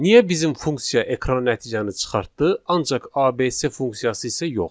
Niyə bizim funksiya ekrana nəticəni çıxartdı, ancaq ABC funksiyası isə yox?